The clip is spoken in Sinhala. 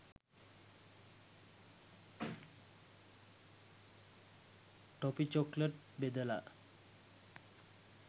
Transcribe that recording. ටොපි චොකලට් බෙදලා